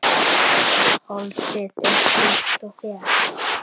Holdið er hvítt og þétt.